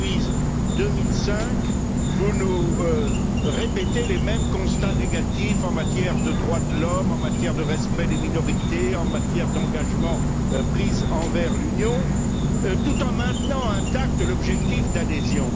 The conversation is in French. Depuis 2005, vous nous répétez les mêmes constats négatifs en matière de droits de l'homme, en matière de respect des minorités, en matière d'engagements pris envers l'Union, tout en maintenant intact l'objectif d'adhésion.